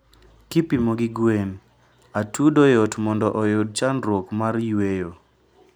kipimo gi gwen, atudo yot mondo oyud chandruok mar yweyo